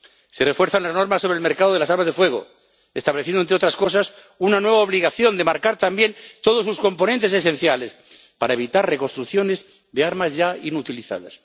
Se refuerzan las normas sobre el mercado de las armas de fuego, estableciendo, entre otras cosas, una nueva obligación de marcar también todos los componentes esenciales para evitar reconstrucciones de armas ya inutilizadas.